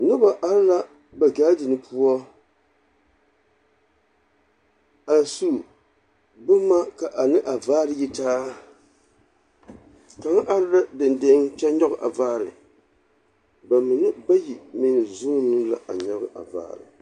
Noba are la ba gaadiŋ poɔ, a su bomma ka a ne a vaare yi taa. Kaŋ are la deŋdeŋ kyɛ nyɔge a vaare. Ba mine bayi meŋ zuuni la a nyɔge a vaare.